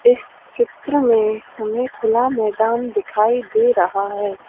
इस चित्र में हमें खुला मैदान दिखाई दे रहा है।